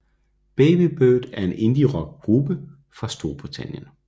Baby Bird er en indierock gruppe fra Storbritannien